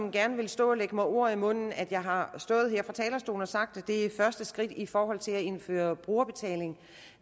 og gerne vil stå og lægge mig ord i munden at jeg har stået her på talerstolen og sagt at det er første skridt i forhold til at indføre brugerbetaling